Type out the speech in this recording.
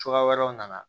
Cogoya wɛrɛw nana